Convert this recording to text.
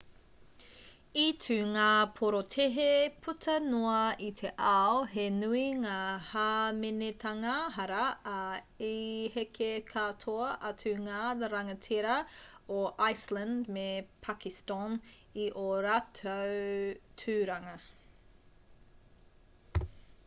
i tū ngā porotēhi puta noa i te ao he nui ngā hāmenetanga hara ā i heke katoa atu ngā rangatira o iceland me pakiston i ō rātou tūranga